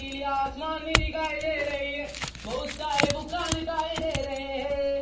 पिले आसमान भी दिखाई दे रही है बहुत सारे दुकान दिखाई दे रहे है।